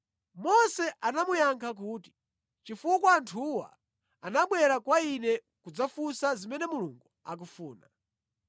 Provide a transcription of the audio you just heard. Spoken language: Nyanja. Mose anamuyankha kuti, “Chifukwa anthuwa anabwera kwa ine kudzafunsa zimene Mulungu akufuna.